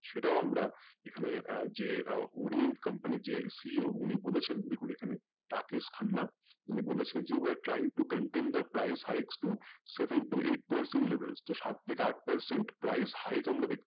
সেটাও আমরা এখানে যে আহ orient comapny যে CEO বলেছেন দেখুন এখানে রাকেশ খান্না উনি বলেছিলেন যে we are trying to contain the price heights to seven to eight percent levels তো সাত থাকে আট percent hight